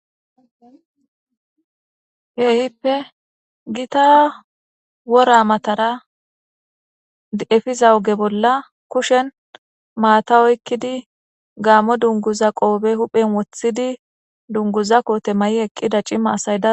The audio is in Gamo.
Kehippe Gita worra matara efiza oge bolla kushen maata oykkidi gaammo dungguza qofe huuphphen wothidi dungguza kote mayi eqida c'imatta asay